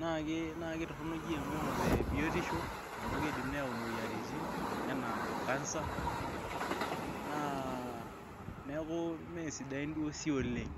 naa ketorok te biotisho amuu keidim neyau imueyiaritin enaa cancer, niaku imesidain duo sii oleng'.